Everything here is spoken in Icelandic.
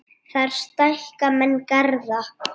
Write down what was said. Þar stækka menn garða.